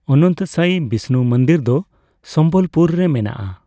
ᱚᱱᱚᱱᱛᱚᱥᱟᱭᱤ ᱵᱤᱥᱱᱩ ᱢᱩᱱᱫᱤᱨ ᱫᱚ ᱥᱚᱢᱵᱚᱞᱯᱩᱨ ᱨᱮ ᱢᱮᱱᱟᱜᱼᱟ ᱾